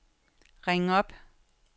ring op